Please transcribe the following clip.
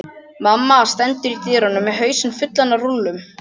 Mamma stendur í dyrunum með hausinn fullan af rúllum.